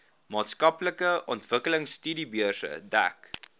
maatskaplike ontwikkelingstudiebeurse dek